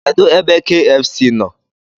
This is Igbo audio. Kedụ ebe kfc nọ?